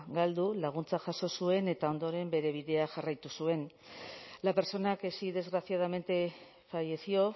galdu laguntza jaso zuen eta ondoren bere bidea jarraitu zuen la persona que sí desgraciadamente falleció